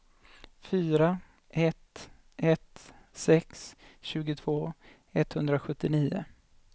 fyra ett ett sex tjugotvå etthundrasjuttionio